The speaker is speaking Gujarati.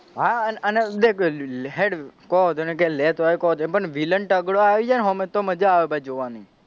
હા અને દેખ હેડ કોઈ ઓધો નહી લેતો પણ કોઈ ઓધો નહી પણ villain તગડો આયી જાયને હોમે તો મજા આવે ભઈ જોવાની,